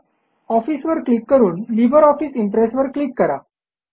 office वर click करून LibreOffice Impress वर क्लिक करा